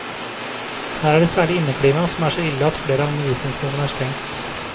Her er det særlig inneklimaet som er så ille at flere av undervisningsrommene er stengt.